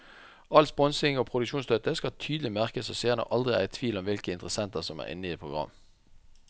All sponsing og produksjonsstøtte skal tydelig merkes så seerne aldri er i tvil om hvilke interessenter som er inne i et program.